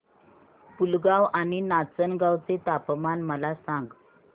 पुलगांव आणि नाचनगांव चे तापमान मला सांग